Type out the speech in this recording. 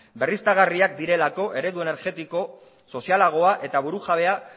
berriztagarriak direlako eredu energetiko sozialagoa eta burujabea